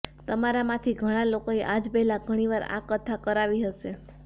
તમારા માંથી ઘણા લોકોએ આજ પહેલા ઘણી વાર આ કથા કરાવી હશે